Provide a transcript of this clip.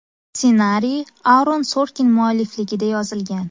Ssenariy Aaron Sorkin muallifligida yozilgan.